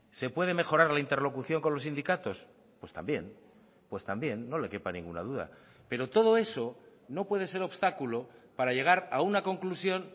se puede mejorar la interlocución con los sindicatos pues también pues también no le quepa ninguna duda pero todo eso no puede ser obstáculo para llegar a una conclusión